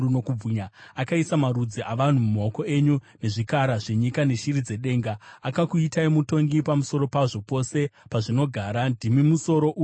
akaisa marudzi avanhu mumaoko enyu nezvikara zvenyika neshiri dzedenga. Akakuitai mutongi pamusoro pazvo, pose pazvinogara. Ndimi musoro uya wegoridhe.